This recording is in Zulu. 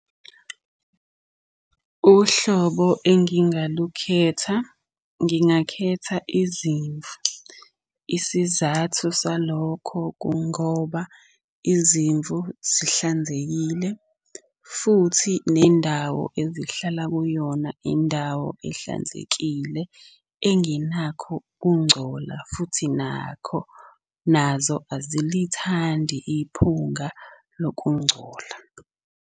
Uhlobo engingalukhetha, ngingakhetha izimvu. Isizathu salokho kungoba izimvu zihlanzekile, futhi nendawo ezihlala kuyona indawo ehlanzekile engenakho ukungcola futhi nakho, nazo azilithandi iphunga lokungcola.